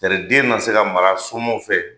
Tari den na se ka mara somɔgɔw fɛ